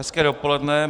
Hezké dopoledne.